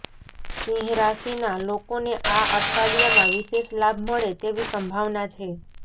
સિંહ રાશિના લોકોને આ અઠવાડિયામાં વિશેષ લાભ મળે તેવી સંભાવના છે